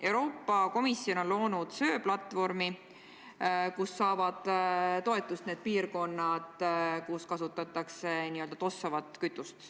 Euroopa Komisjon on loonud söeplatvormi, kust saavad toetust need piirkonnad, kus kasutatakse n-ö tossavat kütust.